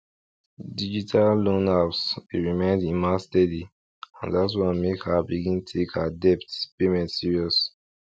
digital loan apps dey remind emma steady and that one make her begin take her debt payment serious